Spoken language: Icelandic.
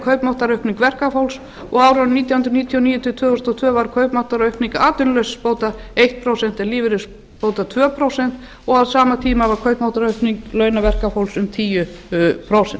kaupmáttaraukning verkafólks á árunum nítján hundruð níutíu og níu til tvö þúsund og tvö var kaupmáttaraukning atvinnuleysisbóta eitt prósent en lífeyris tvö prósent á sama tíma var kaupmáttaraukning launa verkafólks um tíu prósent